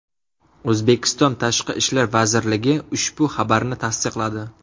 O‘zbekiston Tashqi ishlar vazirligi ushbu xabarni tasdiqladi .